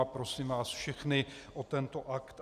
A prosím vás všechny o tento akt.